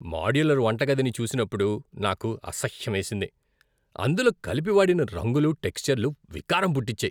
Modular వంటగదిని చూసినప్పుడు నాకు అసహ్యమేసింది. అందులో కలిపి వాడిన రంగులు, టెక్స్చర్లు వికారం పుట్టించాయి.